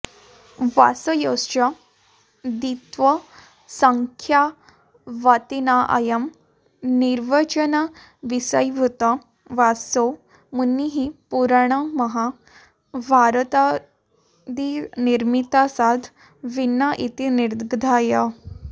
व्यासयोश्च द्वित्वसंख्यावत्त्वेनाऽयं निर्वचनविषयीभूतो व्यासो मुनिः पुराणमहाभारतादिनिर्मातासाद् भिन्न इति निर्धाय